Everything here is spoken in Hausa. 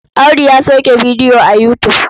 Audu ya sauke bidiyo a Yutub.